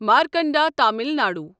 Markanda Tamil Nadu